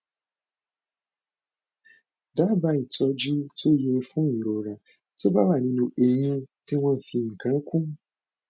dábàá ìtọjú tó yẹ fún ìrora tó bá wà nínú eyín tí wọn fi nǹkan kún